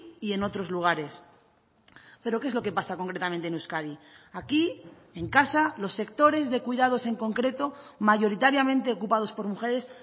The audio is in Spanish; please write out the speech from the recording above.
y en otros lugares pero qué es lo que pasa concretamente en euskadi aquí en casa los sectores de cuidados en concreto mayoritariamente ocupados por mujeres